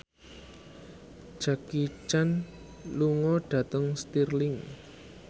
Jackie Chan lunga dhateng Stirling